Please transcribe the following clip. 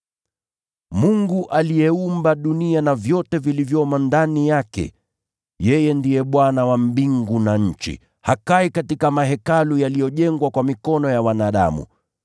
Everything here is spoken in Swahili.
“Mungu aliyeumba dunia na vyote vilivyomo ndani yake, yeye ndiye Bwana wa mbingu na nchi, hakai katika mahekalu yaliyojengwa kwa mikono ya wanadamu.